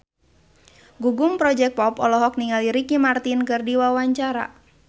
Gugum Project Pop olohok ningali Ricky Martin keur diwawancara